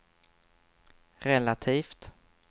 relativt